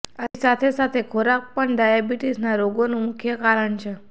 આથી સાથે સાથે ખોરાક પણ ડાયાબીટીશના રોગનું મુખ્ય કારણ છે